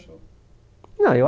Não eu